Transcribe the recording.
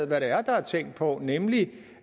hvad det er der er tænkt på nemlig